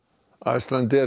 Icelandair